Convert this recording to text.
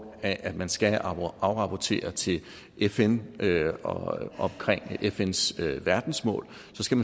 af at man skal afrapportere til fn omkring fns verdensmål